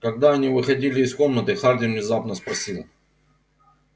когда они выходили из комнаты хардин внезапно спросил